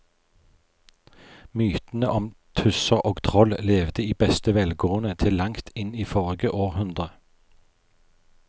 Mytene om tusser og troll levde i beste velgående til langt inn i forrige århundre.